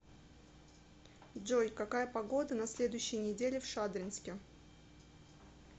джой какая погода на следующей неделе в шадринске